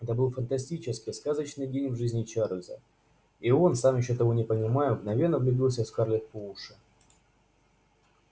это был фантастический сказочный день в жизни чарлза и он сам ещё того не понимая мгновенно влюбился в скарлетт по уши